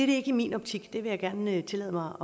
det ikke i min optik det vil jeg gerne tillade mig